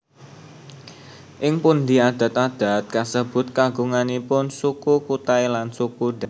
Ing pundi adat adat kasebut kagunganipun Suku Kutai lan Suku Dayak